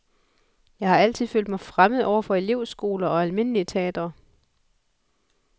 Jeg har altid følt mig fremmed over for elevskoler og almindelige teatre.